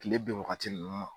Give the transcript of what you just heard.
Kile bɛn wagati ninnu ma.